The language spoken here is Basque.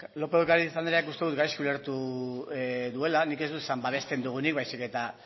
lópez de ocariz andreak uste dut gaizki ulertu duela nik ez dut esan babesten duguenik baizik eta